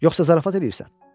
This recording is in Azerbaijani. Yoxsa zarafat eləyirsən?